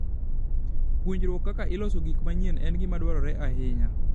Puonjruok kaka iloso gik manyien en gima dwarore ahinya.